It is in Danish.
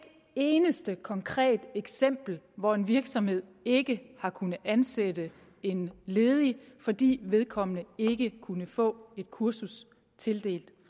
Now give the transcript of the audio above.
eneste konkret eksempel hvor en virksomhed ikke har kunnet ansætte en ledig fordi vedkommende ikke kunne få et kursus tildelt